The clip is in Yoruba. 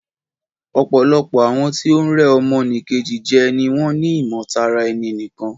Ọ̀pọ̀lọpọ̀ àwọn tí o ń rẹ́ ọmọ nì Kejì jẹ ni wọ́n ni ìmọ̀ tara ẹni nìkan.